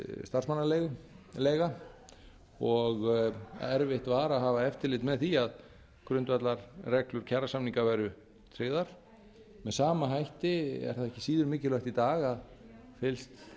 starfsmannaleiga og erfitt var að hafa eftirlit með því að grundvallarreglur kjarasamninga væru tryggðar með sama hætti er það ekki síður mikilvægt í dag að fylgst